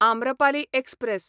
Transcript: Amrapali express